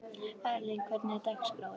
Erling, hvernig er dagskráin?